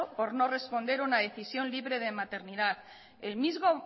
por no responder una decisión libre de maternidad el mismo